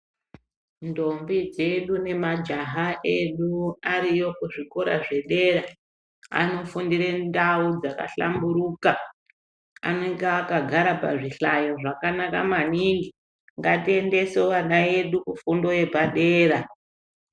Ndombi dzedu nemajaha edu ariyo kuzvikora zvedera anofundire ndau dzaka hlamburuka anenge akagara pazvihlayo zvakanaka maningi, ngatiendese ana edu kufundo yepadera.